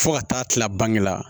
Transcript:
Fo ka taa kila bange la